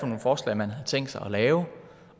nogle forslag man havde tænkt sig at lave